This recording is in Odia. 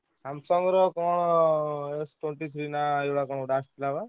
Samsung ର କଣ S twenty three ନା ଏଇ ଭଳିଆ ଗୋଟେ କଣ ଆସୁଥିଲା ବା?